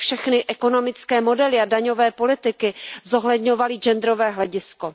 s tím, aby všechny ekonomické modely a daňové politiky zohledňovaly genderové hledisko.